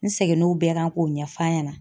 N seginn'o bɛɛ kan k'o ɲɛf'a ɲɛna.